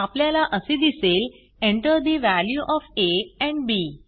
आपल्याला असे दिसेल Enter the value of a and B